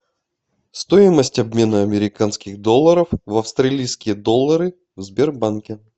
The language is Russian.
стоимость обмена американских долларов в австралийские доллары в сбербанке